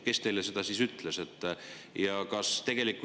Kes teile seda ütles?